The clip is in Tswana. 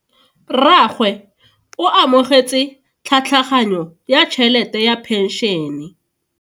Rragwe o amogetse tlhatlhaganyo ya tšhelete ya phenšene.